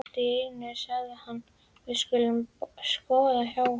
Allt í einu sagði hann: Við skulum skoða hjallinn.